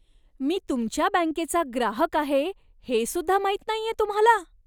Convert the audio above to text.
मी तुमच्या बँकेचा ग्राहक आहे, हेसुद्धा माहीत नाहीये तुम्हाला?